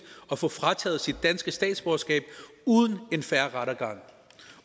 og få frataget sit danske statsborgerskab uden en fair rettergang